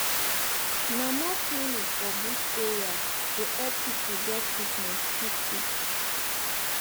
na more clinic for bush area go epp pipu get treatment quick quick